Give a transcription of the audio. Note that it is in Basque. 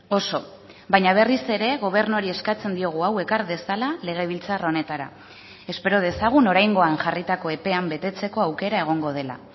oso baina berriz ere gobernuari eskatzen diogu hau ekar dezala legebiltzar honetara espero dezagun oraingoan jarritako epean betetzeko aukera egongo dela